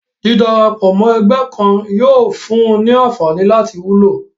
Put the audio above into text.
dídarapọ̀ mọ́ ẹgbẹ́ kan yóò fún un ní anfààní láti wúlò